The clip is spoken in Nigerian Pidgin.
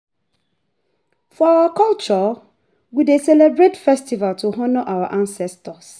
For our custom, we dey celebrate festival to honour our ancestors.